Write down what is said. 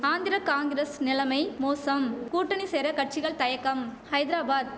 ஆந்திர காங்கிரஸ் நிலமை மோசம் கூட்டணி சேர கட்சிகள் தயக்கம் ஐத்ராபாத்